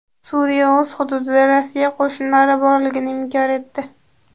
Suriya o‘z hududida Rossiya qo‘shinlari borligini inkor etdi.